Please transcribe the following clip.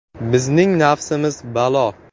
Bizning nafsimiz balo.